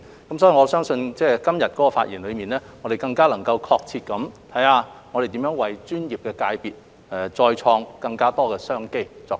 因此，我相信今日的發言能更確切地探討如何為專業界別再開創更多商機。